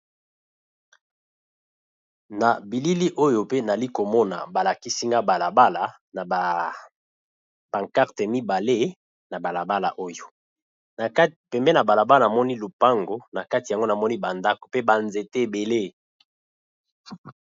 Na bilili oyo, nazalì komona balakisi nga balabala, na ba pancarte mibale. Pembeni ya balabala, namoni lupango, na kati yango namoni bandako pe banzete ebele.